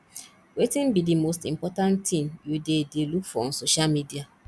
wetin be di most important thing you dey dey look for on social media